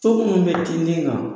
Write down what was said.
So munnu bɛ tintin kan